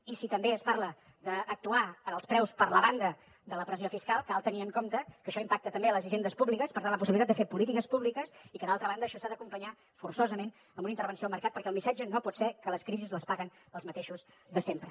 i si també es parla d’actuar en els preus per la banda de la pressió fiscal cal tenir en compte que això impacta també en les hisendes públiques per tant en la possibilitat de fer polítiques públiques i que d’altra banda això s’ha d’acompanyar forçosament amb una intervenció al mercat perquè el missatge no pot ser que les crisis les paguen els mateixos de sempre